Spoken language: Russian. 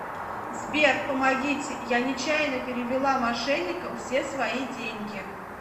сбер помогите я нечаянно перевела мошенникам все свои деньги